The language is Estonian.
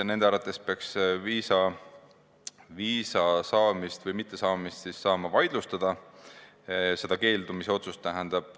Nende arvates peaks viisa mittesaamist saama vaidlustada, just seda keeldumisotsust.